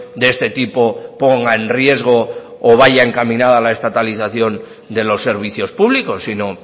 de este tipo ponga en riesgo o vaya encaminada la estatalización de los servicios públicos sino